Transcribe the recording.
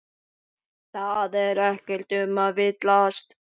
Það er ekkert um að villast.